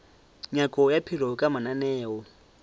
nyako ya maphelo ka mananeo